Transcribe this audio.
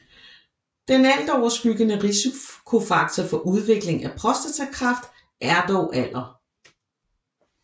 Den altoverskyggende risikofaktor for udviklingen af prostatakræft er dog alder